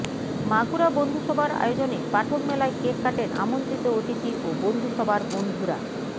মাগুরা বন্ধুসভার আয়োজনে পাঠক মেলায় কেক কাটেন আমন্ত্রিত অতিথি ও বন্ধুসভার বন্ধুরা